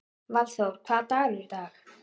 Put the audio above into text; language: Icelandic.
Valþór, hvaða dagur er í dag?